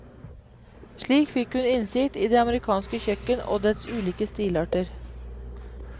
Slik fikk hun innsikt i det amerikanske kjøkken og dets ulike stilarter.